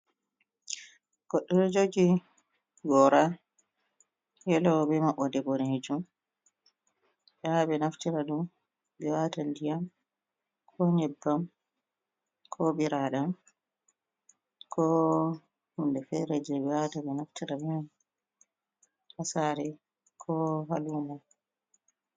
Goɗɗo ɗo jogi gora yelo be maɓɓode boɗejum, ɓe wawan ɓe naftira ɗum be wata diyam, ko nyebbam, ko biradam, ko hunde fere je ɓe wawata ɓe naftira be mai ha sare ko ha lumo.